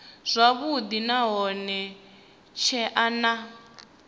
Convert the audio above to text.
zwavhudi nahone hu tshee na